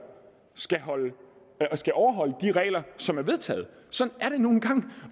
skal skal overholde de regler som er vedtaget sådan er det nu engang